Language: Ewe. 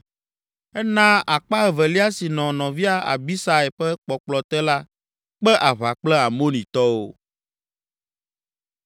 Ena akpa evelia si nɔ nɔvia Abisai ƒe kpɔkplɔ te la kpe aʋa kple Amonitɔwo.